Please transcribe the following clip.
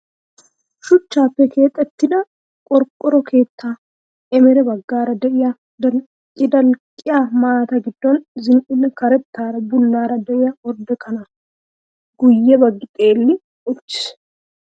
Shuchchappe keexettida qorqqoro keetta ereme baggaara diya dalqqi dalqqiyaa maataa giddon zin"ida karettaara bullaara diya ordde kanaa. Guyye baggi xeelli uuttis.